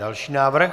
Další návrh.